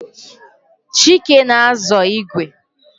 Chike na-azọ igwe